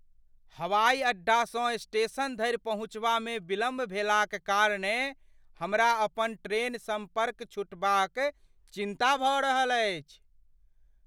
हवाइ अड्डासँ स्टेशन धरि पहुँचबामे विलम्ब भेलाक कारणेँ हमरा अपन ट्रेन सम्पर्क छूटबाक चिन्ता भऽ रहल अछि।